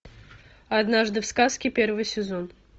однажды в сказке первый сезон